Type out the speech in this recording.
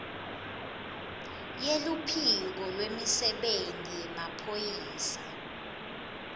yeluphiko lwemisebenti yemaphoyisa